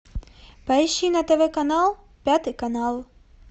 поищи на тв канал пятый канал